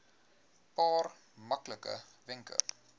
paar maklike wenke